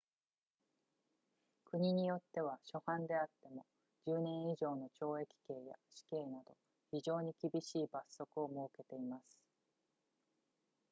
国によっては初犯であっても10年以上の懲役刑や死刑など非常に厳しい罰則を設けています